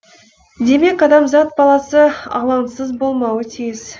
демек адамзат баласы алаңсыз болмауы тиіс